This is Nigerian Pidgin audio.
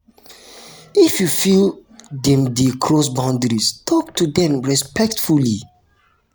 if you feel dem dey cross boundary talk to dem respectfully.